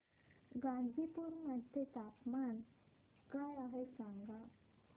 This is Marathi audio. गाझीपुर मध्ये तापमान काय आहे सांगा